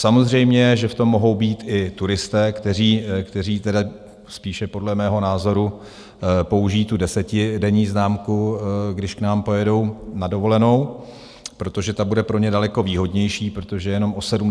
Samozřejmě že v tom mohou být i turisté, kteří tedy spíše podle mého názoru použijí tu desetidenní známku, když k nám pojedou na dovolenou, protože ta bude pro ně daleko výhodnější, protože je jenom o 70 korun dražší.